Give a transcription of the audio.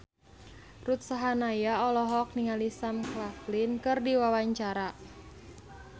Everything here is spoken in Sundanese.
Ruth Sahanaya olohok ningali Sam Claflin keur diwawancara